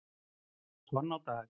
tonn í dag.